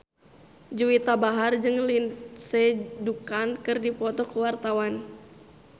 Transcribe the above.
Juwita Bahar jeung Lindsay Ducan keur dipoto ku wartawan